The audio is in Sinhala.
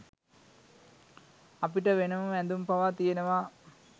අපිට වෙනම ඇඳුම් පවා තියෙනවා.